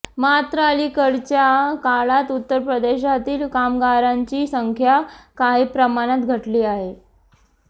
मात्र अलिकडच्या काळात उत्तर प्रदेशातील कामगारांची संख्या काही प्रमाणात घटली आहे